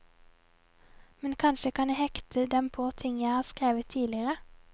Men kanskje kan jeg hekte dem på ting jeg har skrevet tidligere?